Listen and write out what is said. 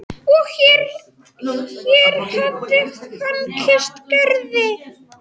Og hér hér hafði hann kysst Gerði.